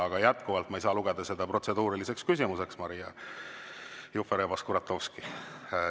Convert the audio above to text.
Aga jätkuvalt, ma ei saa lugeda seda protseduuriliseks küsimuseks, Maria Jufereva-Skuratovski.